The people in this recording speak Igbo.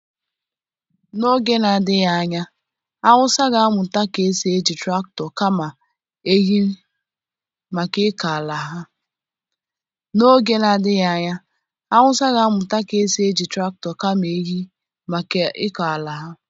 N'oge na-adịghị anya awụsa ga-amụta ka esi eji traktọ kama ehi maka ịkọ ala ha.